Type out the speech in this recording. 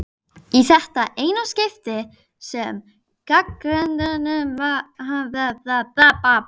Í þetta eina skipti gagnrýndum við Mummi hana.